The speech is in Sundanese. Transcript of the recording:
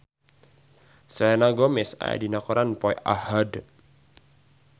Selena Gomez aya dina koran poe Ahad